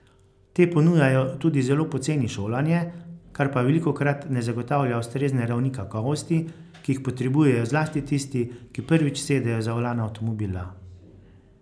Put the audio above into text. Te ponujajo tudi zelo poceni šolanje, kar pa velikokrat ne zagotavlja ustrezne ravni kakovosti, ki jih potrebujejo zlasti tisti, ki prvič sedejo za volan avtomobila.